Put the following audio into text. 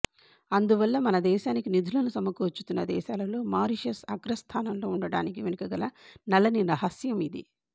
అందువల్ల మనదేశానికి నిధులను సమకూర్చుతున్న దేశాలలో మారిషస్ అగ్రస్థానంలో ఉండడానికి వెనుకగల నల్లని రహస్యం ఇదీ